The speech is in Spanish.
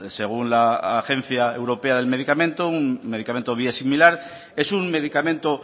según la agencia europea del medicamento un medicamento biosimilar es un medicamento